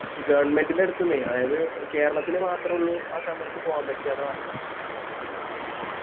Government ൻറെ അടുത്തുന്നെ അതായത് കേരളത്തില് മാത്രോള്ളു ആ സമയത്ത് പോവാൻ പറ്റ ന്ന് പറഞ്ഞിന്നു